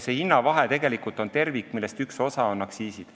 See hinnavahe tegelikult on tervik, millest vaid üks osa on aktsiisid.